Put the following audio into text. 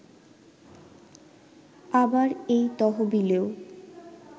আবার এই তহবিলেও